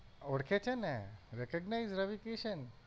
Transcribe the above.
ઓળખે છે ને recognize રવિ કિસન?